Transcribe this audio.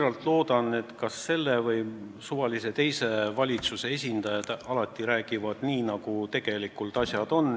Ma väga loodan, et selle ja ka suvalise muu valitsuse esindajad alati räägivad nii, nagu tegelikult asjad on.